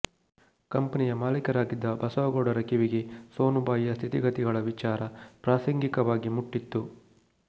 ಕಂಪನಿಯ ಮಾಲೀಕರಾಗಿದ್ದ ಬಸವನಗೌಡರ ಕಿವಿಗೆ ಸೋನುಬಾಯಿಯ ಸ್ಥಿತಿಗತಿಗಳ ವಿಚಾರ ಪ್ರಾಸಂಗಿಕವಾಗಿ ಮುಟ್ಟಿತ್ತು